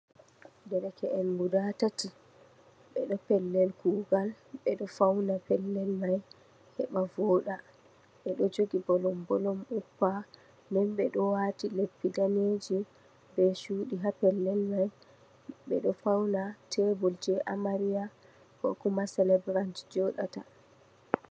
Dereke'en gudaa tati, ɓe ɗo pellel kuugal, ɓe ɗo fawna pellel may heɓa vooɗa. Ɓe ɗo jogi "bolom-bolom" uppa, nden ɓe ɗo waati leppi daneeji bee "cuudi" ha pellel may. Ɓe ɗo fawna "teebul" jey Amariya "kookuma selebirant" jey jooɗata.